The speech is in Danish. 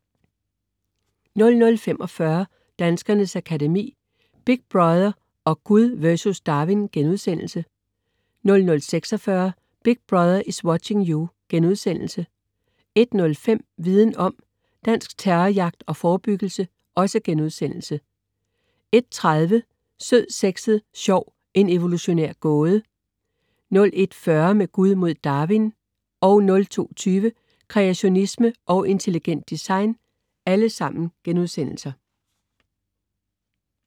00.45 Danskernes Akademi: Big Brother & Gud vs. Darwin* 00.46 Big Brother is watching you!* 01.05 Viden Om - Dansk terrorjagt og forebyggelse* 01.30 Sød, sexet og sjov, en evolutionær gåde* 01.40 Med Gud mod Darwin* 02.20 Kreationisme og intelligent design*